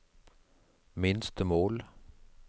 minstemål